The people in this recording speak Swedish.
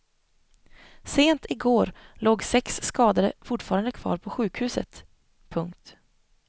Sent i går låg sex skadade fortfarande kvar på sjukhuset. punkt